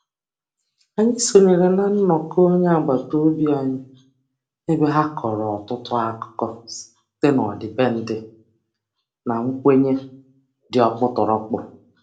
Anyị sonyere na nnọkọ onye agbataobi anyị ebe ha kọrọ ọtụtụ akụkọ site n'ọdịbendị na nkwenye dị ọkpụtọrọkpụ.